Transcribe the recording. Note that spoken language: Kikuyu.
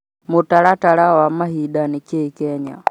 mũtaratara wa mahinda nĩ kĩĩ Kenya